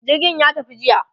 jirgin ya tafi jiya